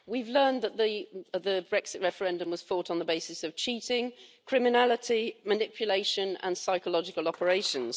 We've learned that the Brexit referendum was fought on the basis of cheating, criminality, manipulation and psychological operations.